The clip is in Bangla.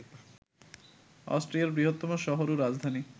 অস্ট্রিয়ার বৃহত্তম শহর ও রাজধানী